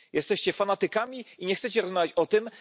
Jesteście fanatykami i nie chcecie rozmawiać o tym.